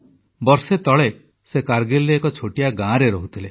ବର୍ଷେ ତଳେ ସେ କାରଗିଲର ଏକ ଛୋଟିଆ ଗାଁରେ ରହୁଥିଲେ